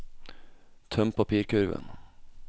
tøm papirkurven